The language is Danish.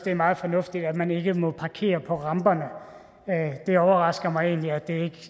er meget fornuftigt at man ikke længere må parkere på ramperne det overrasker mig egentlig at det